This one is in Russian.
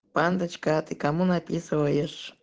а ты кому написываешь